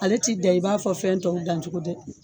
Ale t'i dan i b'a fɔ fɛn tɔw dan cogo dɛ